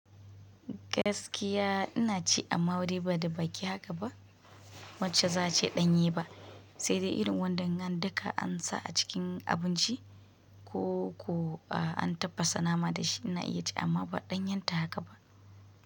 Gaskiya ina ci amma wuri ba da baƙi haka ba wacce za a ce ɗanye ba, sai dai irin wadannan duka an sa a cikin abinci ko, ko an tafasa nama da shi ina iya ci amma ba ɗan yanta haka ba.